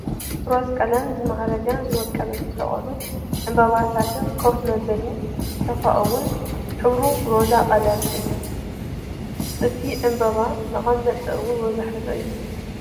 ብሮዝ ቀለም ዝምዓረገ ዝወቀበ ዝተሰቀሉ ዕንባታትን ከፍ መበሊ ሶፋ እውን ሕብሩ ሮዝ ቀለም እዩ። እቱይ ዕንበባ መቀመጢ እውን ሮዝ ሕብሪ እዩተ